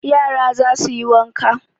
Yara za su yi wanka